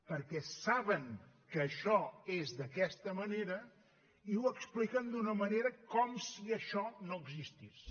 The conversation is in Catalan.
perquè saben que això és d’aquesta manera i ho expliquen d’una manera com si això no existís